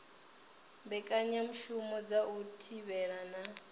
mbekanyamushumo dza u thivhela na